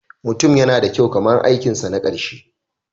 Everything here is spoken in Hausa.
Mutum yana da kyau kamar aikinsa na ƙarshe.